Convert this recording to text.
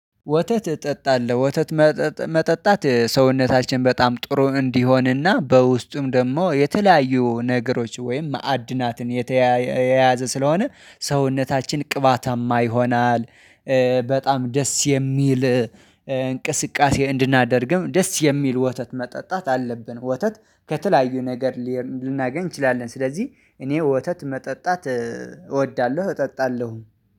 ወተት እጠጣለሁ ወተት መጠጣት ሰውነታችን በጣም ጥሩ እንዲሆንና በውስጡም ደግሞ የተለያዩ ነገሮች ወይም ማዕድናትን የተያያዘ የያዘ ስለሆነ ሰውነታችን ቅባታማ ይሆናል። በጣም ደስ የሚል እንቅስቃሴ እንድናደርግም ደስ የሚል ወተት መጠጣት አለብን። ወተት ከተለያዩ ነገር ልናገኝ እንችላለን። ስለዚህ እኔ ወተት መጠጣት እወዳለሁ እጠጣለሁ